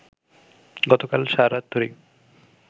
গতকাল সারারাত ধরেই